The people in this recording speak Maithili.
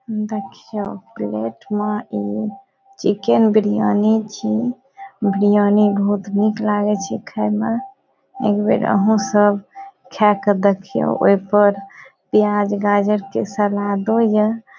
देखियो प्लेट में इ चिकन बिरयानी छी बिरयानी बहुत निक लागे छै खाय में एक बेर आहां सब खाय के देखियो ओय पर प्याज गाजर के सलादो या।